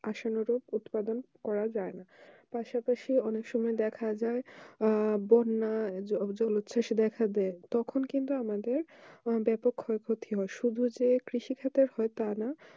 আসলে উৎপাদন করা যায় না পাশা পাশি অনেক সময় দেখা যায় আহ দেখা দেয় তখন কিন্তু আমাদের ব্যাপক ক্ষয় ক্ষতি হয় শুধু কৃষি ক্ষেত্রে হয় তা নয়